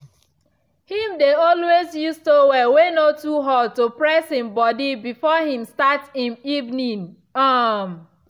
him dey always use towel way no too hot to press him body before him start em evening. um